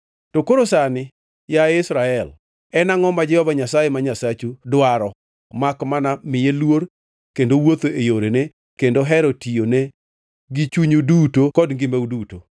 To koro sani, yaye Israel, en angʼo ma Jehova Nyasaye ma Nyasachu dwaro makmana miye luor kendo wuotho e yorene kendo hero tiyone gi chunyu duto kod ngimau duto.